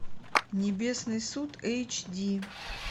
небесный суд эйч ди